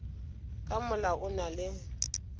ka molao o na le